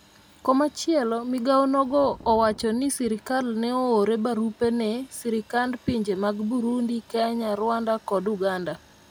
komachielo, migawo nogo owacho ni sirikal ne oore barupe ne sirikand pinje mag Burundi, Kenya, Rwanda kod Uganda